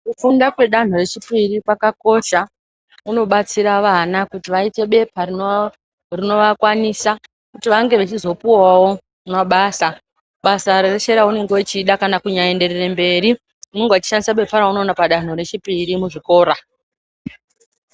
Kufunda kwedanho rechipiri kwakakosha kunobatsira vana kuti vaite bepa rinovakwanisa kuti vange vechizopuwawo mabasa. Basa reshe raunenge uchida kana kunyaenderere mberi unonga uchishandisa bepa raunoona padanho rechipiri muzvikora.